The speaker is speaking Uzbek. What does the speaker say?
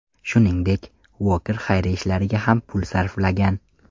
Shuningdek, Uoker xayriya ishlariga ham pul sarflagan.